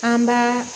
An b'a